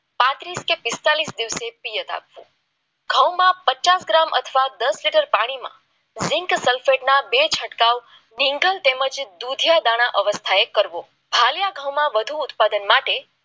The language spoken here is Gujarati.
પાંત્રીસ કે પિસ્તાળીસ દિવસે ગૌમાં પચાસ ગ્રામ અથવા દસ લીટર પાણીમાં ઝીંક સલ્ફેટ ના બે છંટકાવ વિંગલ તેમજ દુધિયા દાણા અવસ્થા એ કરવો માં વધુ ઉત્પાદન માટે પાણી